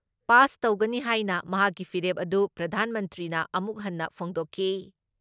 Pass ꯇꯧꯒꯅ ꯍꯥꯏꯅ ꯃꯍꯥꯛꯀꯤ ꯐꯤꯔꯦꯞ ꯑꯗꯨ ꯄ꯭ꯔꯙꯥꯟ ꯃꯟꯇ꯭ꯔꯤꯅ ꯑꯃꯨꯛ ꯍꯟꯅ ꯐꯣꯡꯗꯣꯛꯈꯤ ꯫